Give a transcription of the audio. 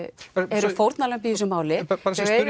eru fórnarlömb í þessu máli bara